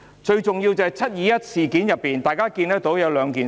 最重要的是，在"七二一"事件中，大家看到兩點。